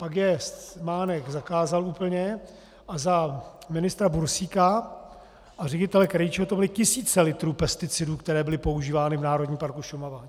Pak je Mánek zakázal úplně a za ministra Bursíka a ředitele Krejčího to byly tisíce litrů pesticidů, které byly používány v Národním parku Šumava.